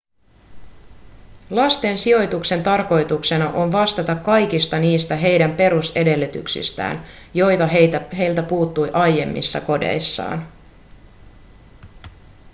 lasten sijoituksen tarkoituksena on vastata kaikista niistä heidän perusedellytyksistään joita heiltä puuttui aiemmissa kodeissaan